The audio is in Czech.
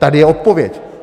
Tady je odpověď!